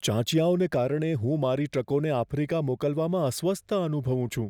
ચાંચિયાઓને કારણે હું મારી ટ્રકોને આફ્રિકા મોકલવામાં અસ્વસ્થતા અનુભવું છું.